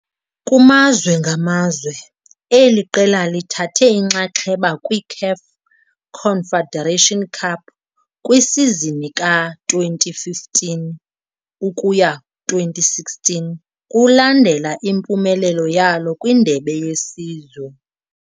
Kumazwe ngamazwe, eli qela lithathe inxaxheba kwiCAF Confederation Cup kwisizini ka-2015-2016 kulandela impumelelo yalo kwindebe yesizwe.